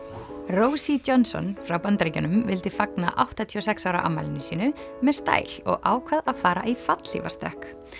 rosie Johnson frá Bandaríkjunum vildi fagna áttatíu og sex ára afmælinu sínu með stæl og ákvað að fara í fallhlífastökk